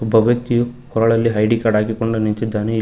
ಒಬ್ಬ ವ್ಯಕ್ತಿಯು ಕೊರಳಲ್ಲಿ ಐ_ಡಿ ಕಾರ್ಡ್ ಹಾಕಿಕೊಂಡು ನಿಂತಿದ್ದಾನೆ ಇಲ್ಲಿ--